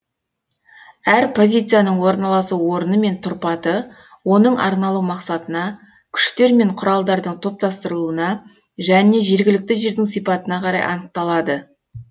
әр позицияның орналасу орны мен тұрпаты оның арналу мақсатына күштер мен құралдардың топтастырылуына және жергілікті жердің сипатына қарай анықталады